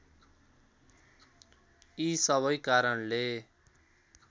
यी सबै कारणले